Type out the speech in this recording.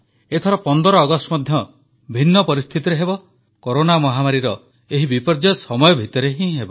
ଏଥର 15 ଅଗଷ୍ଟ ମଧ୍ୟ ଭିନ୍ନ ପରିସ୍ଥିତିରେ ହେବ କରୋନା ମହାମାରୀର ଏହି ବିପର୍ଯ୍ୟୟ ସମୟ ଭିତରେ ହେବ